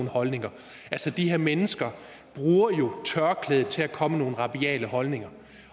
holdninger de her mennesker bruger tørklædet til at komme med nogle rabiate holdninger